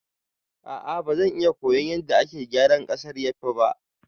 A'a bazai iya koyan yadda ake gyara ƙasar yafi ba